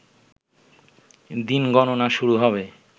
দিন গণনা শুরু হবে